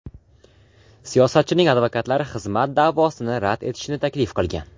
Siyosatchining advokatlari xizmat da’vosini rad etishni taklif qilgan.